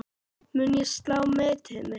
Mun ég slá metið mitt?